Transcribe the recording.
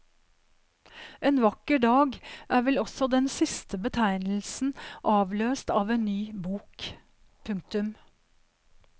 En vakker dag er vel også den siste betegnelsen avløst av en ny bok. punktum